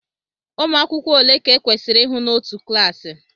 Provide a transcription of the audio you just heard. Ụmụ akwụkwọ ole ka e kwesịrị ihụ n'otu klassi